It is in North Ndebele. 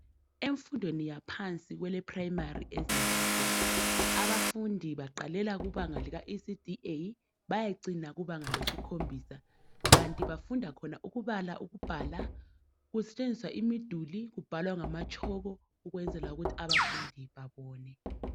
Emfundweni yaphansi kweleprimary ezimbabwe abafundi baqalela kubanga lika ecd A bayecina kubanga lesikhombisa kanti bafunda khona ukubala ukubhala kusetshenziswa imiduli kubhalwa ngamatshoko ukwenzela ukuthi abafundi babone